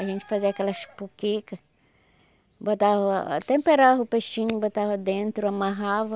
A gente fazia aquelas, botava... temperava o peixinho, botava dentro, amarrava,